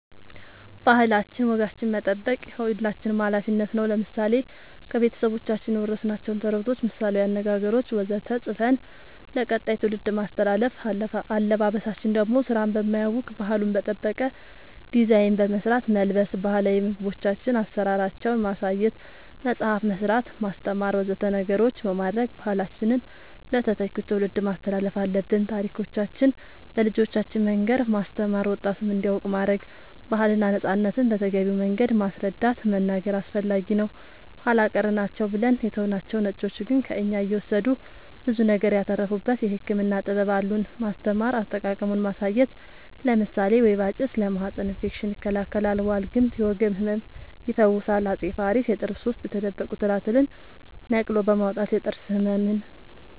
ባህላችን ወጋችን መጠበቅ የሁላችንም አላፊነት ነው ለምሳሌ ከቤተሰቦቻችን የወረስናቸውን ተረቶች ምሳላዊ አነገገሮች ወዘተ ፅፈን ለቀጣይ ትውልድ ማስተላለፍ አለበበሳችን ደሞ ስራን በማያውክ ባህሉን በጠበቀ ዲዛይን በመስራት መልበስ ባህላዊ ምግቦቻችን አሰራራቸውን ማሳየት መፅአፍ መስራት ማስተማር ወዘተ ነገሮች በማድረግ ባህላችንን ለተተኪው ትውልድ ማስተላለፍ አለብን ታሪኮቻችን ለልጆቻን መንገር ማስተማር ወጣቱም እንዲያውቅ ማረግ ባህልና ነፃነትን በተገቢው መንገድ ማስረዳት መናገር አስፈላጊ ነው ኃላ ቀር ናቸው ብለን የተውናቸው ነጮቹ ግን ከእኛ እየወሰዱ ብዙ ነገር ያተረፉበት የህክምና ጥበብ አሉን ማስተማር አጠቃቀሙን ማሳየት ለምሳሌ ወይባ ጭስ ለማህፀን እፌክሽን ይከላከላል ዋልግምት የወገብ ህመም ይፈውሳል አፄ ፋሪስ የጥርስ ውስጥ የተደበቁ ትላትልን ነቅሎ በማውጣት የጥርስ ህመምን